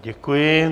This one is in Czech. Děkuji.